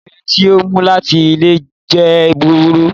Ipele ti o mu lati ile jẹ buburu